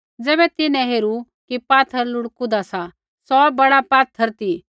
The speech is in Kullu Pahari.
ज़ैबै तिन्हैं हेरू कि पात्थर लुढ़कुदा सा सौ बड़ा पात्थर ती